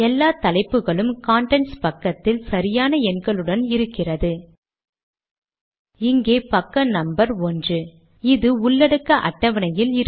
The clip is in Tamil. விடுனர் முகவரி இங்கிருந்து மறைந்துவிட்டதாக காணலாம்